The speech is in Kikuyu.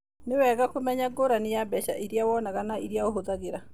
Nĩ wega kũmenya ngũrani ya mbeca iria wonaga na iria ũhũthagĩra.